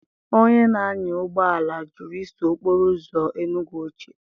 Onye na-anya ụgbọ ala jụrụ iso okporo uzo Enugwu ochie.